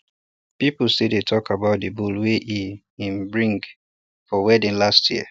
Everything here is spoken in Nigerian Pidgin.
people still dey talk about the bull wey e um bring for wedding last year